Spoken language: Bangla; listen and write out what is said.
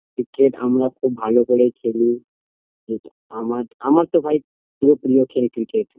ক্রিকেট আমরা খুব ভালো করেই খেলি আমার আমার তো ভাই খুবই প্রিয় খেলা cricket